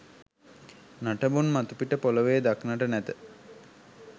නටබුන් මතුපිට පොළවේ දක්නට නැත.